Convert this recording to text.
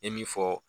I ye min fɔ